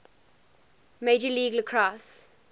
major league lacrosse